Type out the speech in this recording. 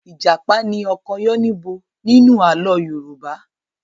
Ìjàpá ni ọkọ Yánníbo nínú àlọ́ Yorùbá.